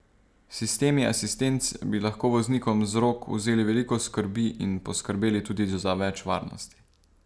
Sistemi asistenc bi lahko voznikom z rok vzeli veliko skrbi in poskrbeli tudi za več varnosti.